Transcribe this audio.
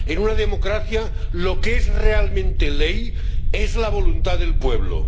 en una democracia lo que es realmente ley es la voluntad del pueblo.